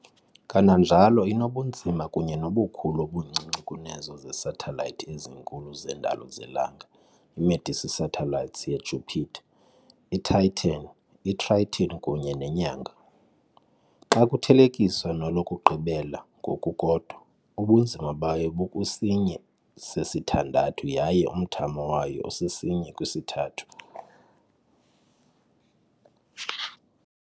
Kananjalo inobunzima kunye nobukhulu obuncinci kunezo zesathelayithi ezinkulu zendalo zelanga, i-Medici satellites yeJupiter, iTitan, iTriton kunye neNyanga. Xa kuthelekiswa nolokugqibela ngokukodwa, ubunzima bayo bukwisinye sesithandathu yaye umthamo wayo usisinye kwisithathu.